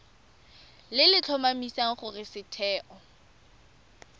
le le tlhomamisang gore setheo